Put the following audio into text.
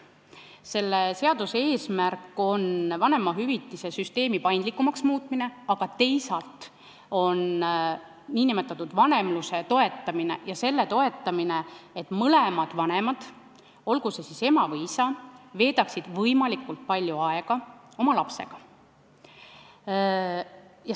Selle seaduse eesmärk on vanemahüvitiste süsteemi paindlikumaks muuta, aga teisalt toetada nn vanemlust ja seda, et mõlemad vanemad, olgu see siis ema või isa, veedaksid oma lapsega võimalikult palju aega.